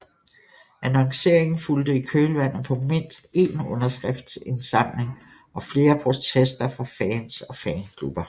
Annonceringen fulgte i kølvandet på mindst én underskriftindsamling og flere protester fra fans og fanklubber